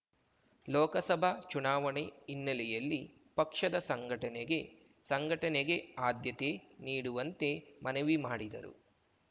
ಲೋಕಸಭಾ ಚುನಾವಣೆ ಹಿನ್ನೆಲೆಯಲ್ಲಿ ಪಕ್ಷದ ಸಂಘಟನೆಗೆ ಸಂಘಟನೆಗೆ ಆದ್ಯತೆ ನೀಡುವಂತೆ ಮನವಿ ಮಾಡಿದರು